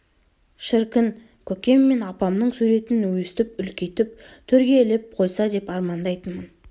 шіркін көкем мен апамның суретін өстіп үлкейтіп төрге іліп қойса деп армандайтынмын